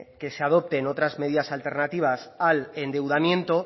que se adopten otras medidas alternativas al endeudamiento